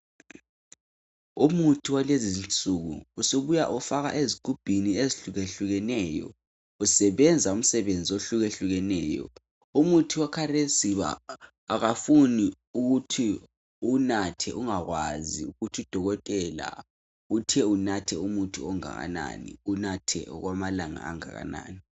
Umuthi walezinsuku usubuya ufakwa ezigubhini ezehlukehlukeneyo usebenza umsebenzi ohlukehlukeneyo umuthi wakhathesi akufuni ukuthi uwunathe ungakwazi ukuthi udokotela uthe unathe umuthi ongakanani unathe okwamalanga angakanani.